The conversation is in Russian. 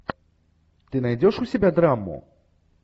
ты найдешь у себя драму